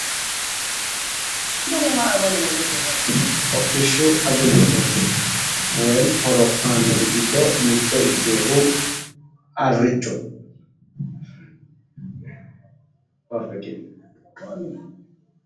Hodhishshu agalgiloote aannori giddo mitto ikkeyoohu haricho..